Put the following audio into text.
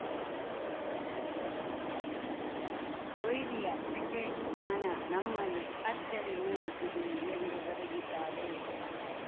ಕೊಹ್ಲಿಯ cricket ಜ್ಞಾನ ನಮ್ಮಲ್ಲಿ ಅಚ್ಚರಿ ಮೂಡಿಸಿದೆಎಂದು ಬರೆದಿದ್ದಾರೆ